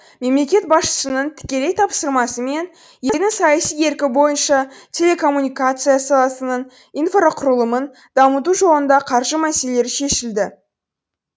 мемлекет басшысының тікелей тапсырмасы мен елдің саяси еркі бойынша телекоммуникация саласының инфрақұрылымын дамыту жолында қаржы мәселелері шешілді